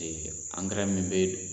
Ee an min bɛ